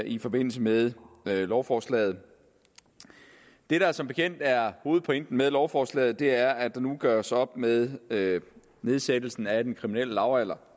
i forbindelse med lovforslaget det der som bekendt er hovedpointen med lovforslaget er at der nu gøres op med med nedsættelsen af den kriminelle lavalder